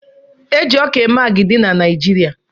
Eji ọkà eme agidi n'naijiria.